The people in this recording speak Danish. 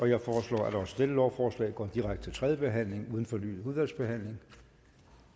jeg forslår at også dette lovforslag går direkte til tredje behandling uden fornyet udvalgsbehandling